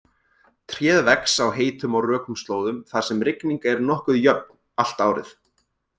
Tréð vex á heitum og rökum slóðum þar sem rigning er nokkuð jöfn allt árið.